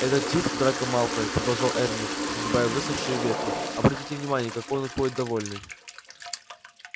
этот тип драко малфой продолжал эрни сгребая высохшие ветви обратите внимание какой он ходит довольный